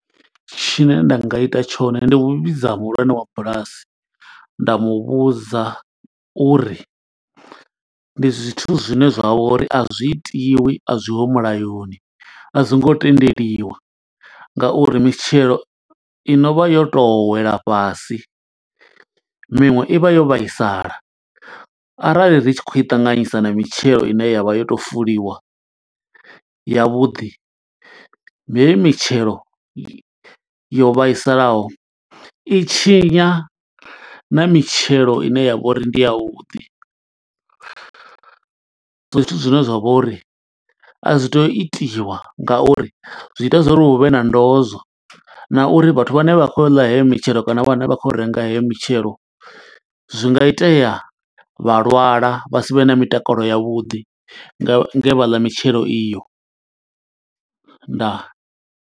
Tshine nda nga ita tshone ndi u vhidza muhulwane wa bulasi, nda mu vhudza uri ndi zwithu zwine zwa vha uri a zwi itiwi, a zwiho mulayoni. A zwi ngo tendeliwa nga uri mitshelo i no vha yo to wela fhasi, miṅwe i vha yo vhaisala, arali ri tshi khou i ṱanganyisa na mitshelo ine yavha yo to fuliwa yavhuḓi. Heyi mitshelo yo vhaisalaho i tshinya na mitshelo ine ya vha uri ndi ya vhuḓi, zwithu zwine zwa vha uri a zwi tei u itiwa nga uri zwi ita zwo uri hu vhe na ndozwo. Na uri vhathu vhane vha khou yo ḽa heyo mitshelo kana vhane vha khou yo renga heyo mitshelo, zwi nga itea vha lwala vha sivhe na mitakalo ya vhuḓi, nge vha ḽa mitshelo iyo. Ndaa.